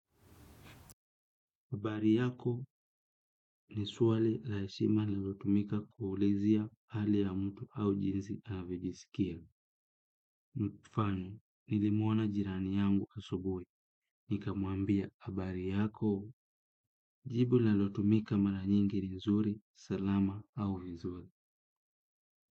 Habari yako ni swali la heshima linalotumika kuulizia hali ya mtu au jinsi anavyojiskia. Mfano nilimuona jirani yangu asubuhi. Nikamuambia habari yako. Jibu linalotumika mara nyingi ni nzuri. Salama au nzuri.